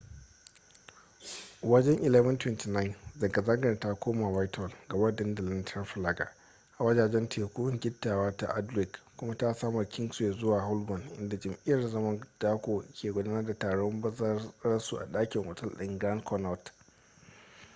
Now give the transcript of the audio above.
wajen 11:29 zanga-zangar ta koma whitehall gaba da dandalin trafalgar a wajajen teku gittawa ta aldwych kuma ta saman kingsway zuwa holborn inda jam'iyyar zaman dako ke gudanar da taron bazararsu a dakin otal ɗin grand connaught